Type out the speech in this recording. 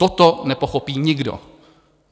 Toto nepochopí nikdo.